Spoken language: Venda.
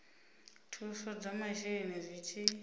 thuso dza masheleni zwi tshi